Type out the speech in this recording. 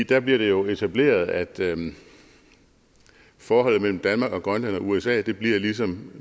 der bliver det jo etableret at forholdet mellem danmark grønland og usa bliver ligesom